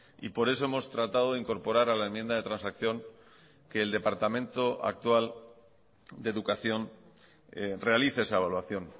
y por eso hemos tratado de incorporar a la enmienda de transacción que el departamento actual de educación realice esa evaluación